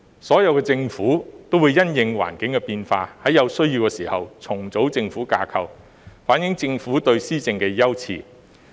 所有政府也會因應環境的變化，在有需要時重組政府架構，反映政府對施政的優次。